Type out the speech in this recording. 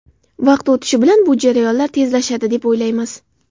Vaqt o‘tishi bilan bu jarayonlar tezlashadi, deb o‘ylaymiz.